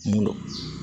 Mun don